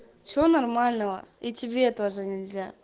все нормального и тебе тоже нельзя